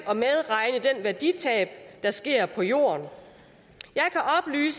at værditab der sker på jorden